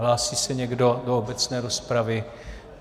Hlásí se někdo do obecné rozpravy?